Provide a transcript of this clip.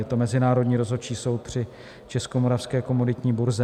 Je to Mezinárodní rozhodčí soud při Českomoravské komoditní burze.